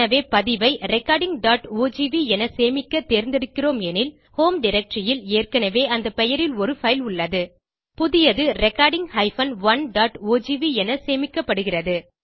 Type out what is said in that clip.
எனவே பதிவை recordingஓஜிவி என சேமிக்க தேர்ந்தெடுக்கிறோம் எனில் ஹோம் டைரக்டரி ல் ஏற்கனவே அந்த பெயரில் ஒரு பைல் உள்ளது புதியது recording 1ஓஜிவி என சேமிக்கப்படுகிறது